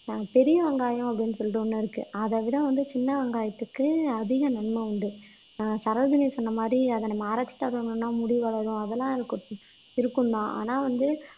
பெரிய வெங்காயம் அப்படின்னு சொல்லிட்டு ஒண்ணு இருக்கு அதவிட வந்து சின்ன வெங்காயத்துக்கு அதிக நன்மை உண்டு ஆஹ் சரோஜினி சொன்ன மாதிரி அத நம்ம ஆராய்ச்சி தரணும்ன்னா முடி வளரும் அதெல்லாம் இருக்கும் இருக்கும் தான் ஆனா வந்து